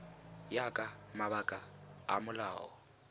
ya ka mabaka a molao